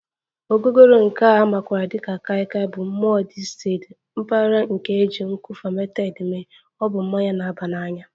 Ogogoro nke a makwaara dị ka Kai Kai Bụ mmụọ distilled mpaghara nke e ji nkwụ fermented mee, ọ bụ mmanya na-aba n'anya